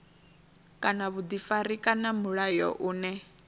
kana vhuḓifari kana mulayo une